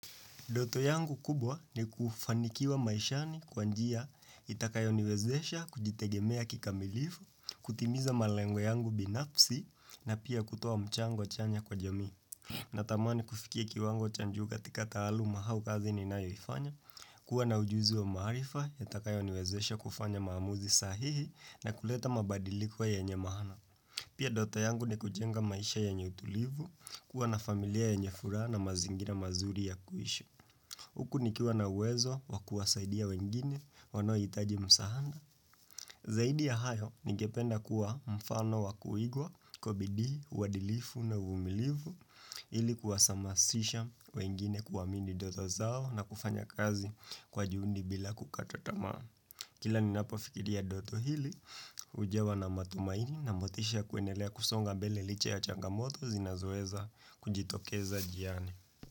Ndoto yangu kubwa ni kufanikiwa maishani kwanjia itakayoniwezesha kujitegemea kikamilifu, kutimiza malengwe yangu binafsi na pia kutoa mchango chanya kwa jamii. Natamani kufikia kiwango cha juu katika taaluma au kazi ninayoifanya, kuwa na ujuzi wa marifa yatakayoniwezesha kufanya maamuzi sahihi na kuleta mabadiliko yenye maana. Pia ndoto yangu ni kujenga maisha yenye utulivu, kuwa na familia yenye furaha na mazingira mazuri ya kuishi. Huku nikiwa na uwezo wakuwasaidia wengine wanao hitaji msaanda. Zaidi ya hayo, ningependa kuwa mfano wakuigwa kwa bidii, uwadilifu na uvumilivu ili kuwasamasisha wengine kuamini ndoto zao na kufanya kazi kwa juundi bila kukata tamaa. Kila ninapofikiria ndoto hili, hujawa na matumaini na motisha kuendelea kusonga mbele licha ya changamoto zinazoweza kujitokeza jiani.